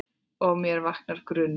Og með mér vaknar grunur.